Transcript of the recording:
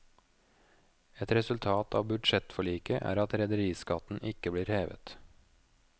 Et resultat av budsjettforliket er at rederiskatten ikke blir hevet.